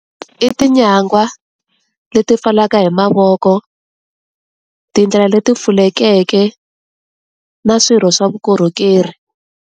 I tinyagwa leti pfalaka hi mavoko, tindlela leti pfulekeke na swirho swa vukorhokeri.